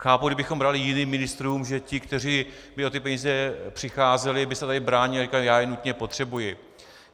Chápu, kdybychom brali jiným ministrům, že ti, kteří by o ty peníze přicházeli, by se tady bránili a říkali: Já je nutně potřebuji.